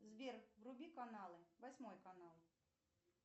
сбер вруби каналы восьмой канал